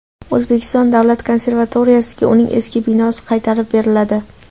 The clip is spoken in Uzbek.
O‘zbekiston davlat konservatoriyasiga uning eski binosi qaytarib beriladi.